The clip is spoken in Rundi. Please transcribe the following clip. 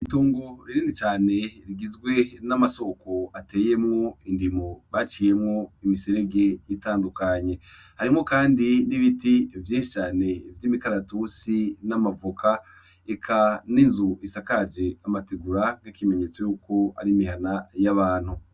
Itongo rinini cane rigizwe n'amasoko ateyemwo indimo baciyemwo imiserege itandukanye, harimwo kandi n'ibiti vyinshi cane vy'imikaratusi, n'amavoka, eka n'inzu isakaje amategura nkikimenyetso yuko ari imihana y'abantu.